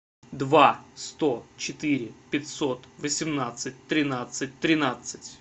два сто четыре пятьсот восемнадцать тринадцать тринадцать